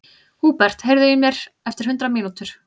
Húbert, heyrðu í mér eftir hundrað mínútur.